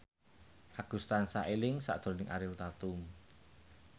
Agus tansah eling sakjroning Ariel Tatum